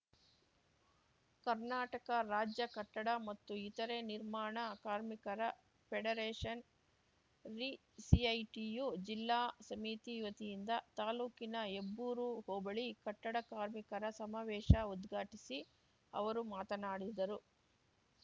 ಕರ್ನಾಟಕ ರಾಜ್ಯ ಕಟ್ಟಡ ಮತ್ತು ಇತರೆ ನಿರ್ಮಾಣ ಕಾರ್ಮಿಕರ ಫೆಡರೇಷನ್ ರಿ ಸಿಐಟಿಯು ಜಿಲ್ಲಾ ಸಮಿತಿ ವತಿಯಿಂದ ತಾಲ್ಲೂಕಿನ ಹೆಬ್ಬೂರು ಹೋಬಳಿ ಕಟ್ಟಡ ಕಾರ್ಮಿಕರ ಸಮಾವೇಶ ಉದ್ಘಾಟಿಸಿ ಅವರು ಮಾತನಾಡಿದರು